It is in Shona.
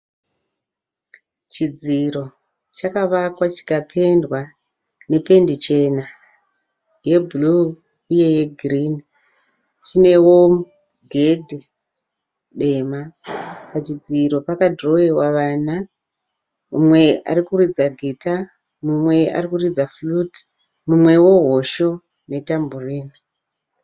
Chidziro chakavakwa chikapendwa nependi chena, yebhulu uye yegirini. Chinewo gedhe dema. Pachidziro pakadhirowewa vana, umwe ari kuridza gita, mumwe arikuridza fuloti mumwewo hosho netamborini.